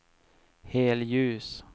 helljus